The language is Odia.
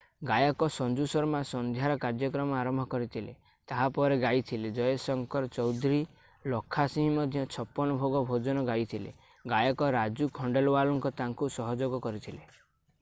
ଗାୟକ ସଞ୍ଜୁ ଶର୍ମା ସନ୍ଧ୍ୟାର କାର୍ଯ୍ୟକ୍ରମ ଆରମ୍ଭ କରିଥିଲେ ତାହା ପରେ ଗାଇଥିଲେ ଜୟ ଶଙ୍କର ଚୌଧୁରୀ ଲଖା ସିଂହ ମଧ୍ୟ ଛପନ ଭୋଗ ଭଜନ ଗାଇଥିଲେ ଗାୟକ ରାଜୁ ଖଣ୍ଡେଲୱାଲ ତାଙ୍କୁ ସହଯୋଗ କରିଥିଲେ